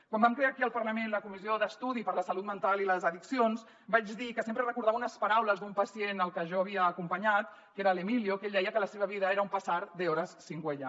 quan vam crear aquí al parlament la comissió d’estudi sobre la salut mental i les addiccions vaig dir que sempre recordava unes paraules d’un pacient al que jo havia acompanyat que era l’emilio que ell deia que la seva vida era un pasar de horas sin huella